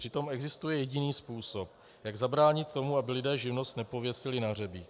Přitom existuje jediný způsob, jak zabránit tomu, aby lidé živnost nepověsili na hřebík.